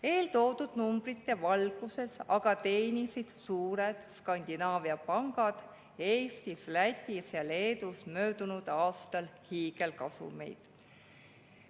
Eeltoodud numbrite valguses aga teenisid suured Skandinaavia pangad Eestis, Lätis ja Leedus möödunud aastal hiigelkasumeid.